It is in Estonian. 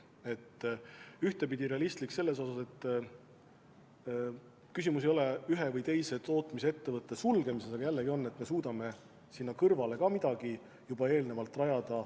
See peab olema ühtepidi realistlik selles mõttes, et küsimus ei ole ühe või teise tootmisettevõtte sulgemises, vaid selles, et me suudame sinna kõrvale midagi juba eelnevalt rajada.